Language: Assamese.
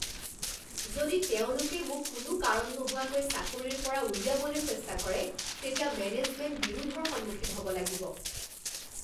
যদি তেওঁলোকে মোক কোনো কাৰণ নোহোৱাকৈ চাকৰিৰ পৰা উলিয়াবলৈ চেষ্টা কৰে তেতিয়া মেনেজমেন্ট বিৰোধৰ সন্মুখীন হ'ব লাগিব।